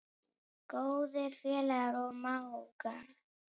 Góðir félagar og mágar.